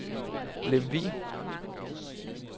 Lemvug